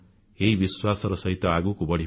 ଏହି ବିଶ୍ୱାସର ସହିତ ଆଗକୁ ବଢ଼ିବା